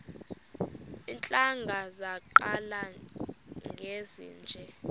iintlanga zaqala ngezinje